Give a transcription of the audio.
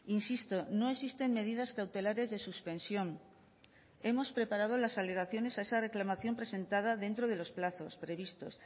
insisto no existen medidas cautelares de suspensión hemos preparado las alegaciones a esa reclamación presentada dentro de los plazos previstos